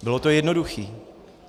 Bylo to jednoduché.